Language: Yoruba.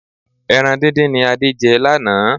Ẹran díndín ni Adé jẹ lánàá.